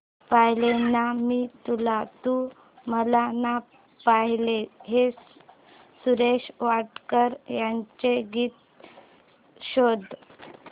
पाहिले ना मी तुला तू मला ना पाहिले हे सुरेश वाडकर यांचे गीत शोध